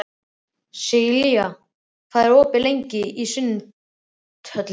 Sigurlilja, hvað er lengi opið í Sundhöllinni?